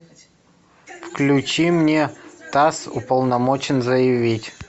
включи мне тасс уполномочен заявить